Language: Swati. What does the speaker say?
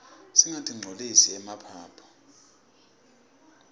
singatinqcolisi emaphaphu